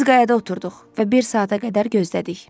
Biz qayada oturduq və bir saata qədər gözlədik.